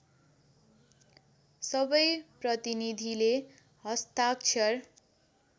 सबै प्रतिनीधिले हस्ताक्षर